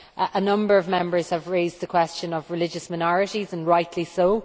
A number of Members have raised the question of religious minorities, and rightly so.